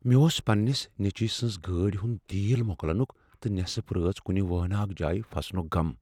مےٚ اوس پننس نیٚچو سٕنٛز گاڑ ہنٛد تیل مۄکلٕنُک تہٕ نصف رٲژ کنہ وٲناکھ جایہ پھسنک غم۔